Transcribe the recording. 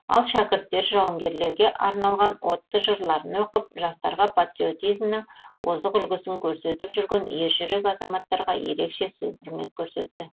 ал шәкірттер жауынгерлерге арналған отты жырларын оқып жастарға патриотизмнің озық үлгісін көрсетіп жүрген ержүрек азаматтарға ерекше сый құрмет көрсетті